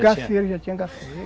Gafieira, já tinha Gafieira.